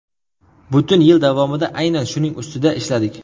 Butun yil davomida aynan shuning ustida ishladik.